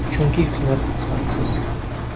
Chunki ko‘mir sifatsiz.